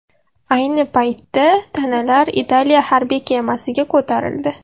Ayni paytda tanalar Italiya harbiy kemasiga ko‘tarildi.